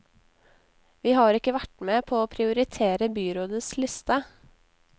Vi har ikke vært med på å prioritere byrådets liste.